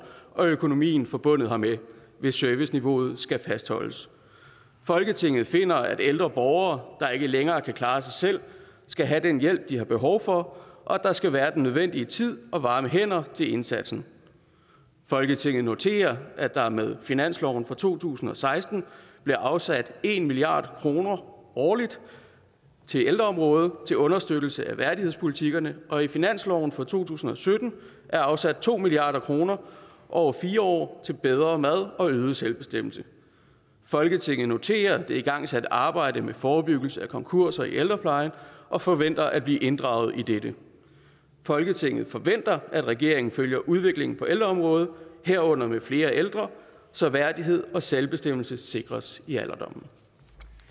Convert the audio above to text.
og økonomien forbundet hermed hvis serviceniveauet skal fastholdes folketinget finder at ældre borgere der ikke længere kan klare sig selv skal have den hjælp de har behov for og at der skal være den nødvendige tid og varme hænder til indsatsen folketinget noterer at der med finansloven for to tusind og seksten blev afsat en milliard kroner årligt til ældreområdet til understøttelse af værdighedspolitikkerne og i finansloven for to tusind og sytten er afsat to milliard kroner over fire år til bedre mad og øget selvbestemmelse folketinget noterer sig det igangsatte arbejde med forebyggelse af konkurser i ældreplejen og forventer at blive inddraget i dette folketinget forventer at regeringen følger udviklingen på ældreområdet herunder med flere ældre så værdighed og selvbestemmelse sikres i alderdommen